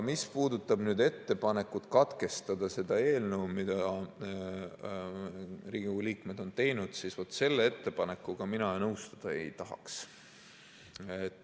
Mis puudutab ettepanekut katkestada eelnõu lugemine, mille Riigikogu liikmed on teinud, siis vat selle ettepanekuga mina nõustuda ei tahaks.